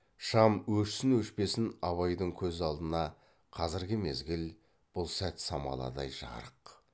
шам өшсін өшпесін абайдың көз алдына қазіргі мезгіл бұл сәт самаладай жарық